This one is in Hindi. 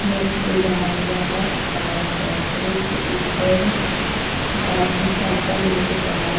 में एक पुल बना हुआ है और पुल के ऊपर एक आदमी साइकल लेके खड़ा है।